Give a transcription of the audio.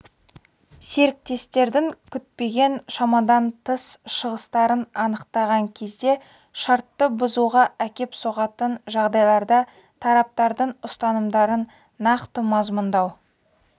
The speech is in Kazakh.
серіктестердің күтпеген шамадан тыс шығыстарын анықтаған кезде шартты бұзуға әкеп соғатын жағдайларда тараптардың ұстанымдарын нақты мазмұндау